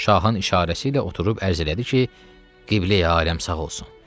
Şahın işarəsi ilə oturub ərizə elədi ki, Qibleyi aləm sağ olsun.